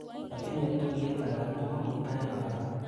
Atinye tuiyet akatukul mutai karon.